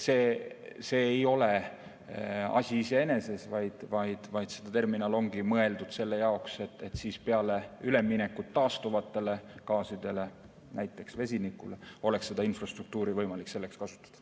See ei ole asi iseeneses, vaid see terminal ongi mõeldud selle jaoks, et peale üleminekut taastuvale gaasile, näiteks vesinikule, oleks seda infrastruktuuri võimalik selleks kasutada.